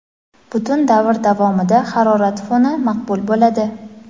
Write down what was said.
Butun davr davomida harorat foni maqbul bo‘ladi.